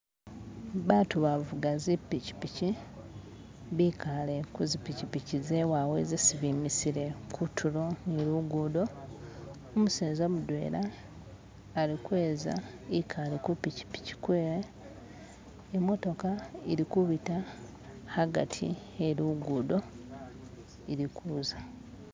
Batu babuga zipichipichi bikaale kuzipichipichi zewawe zesi bimisile kutulo ni lugudo umuseza mudwela alikweza ekale kupchipichi kwewe imotoka ili kubita hagati helugudo ilikuza